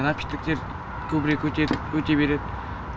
напитоктер көбірек өтеді өте береді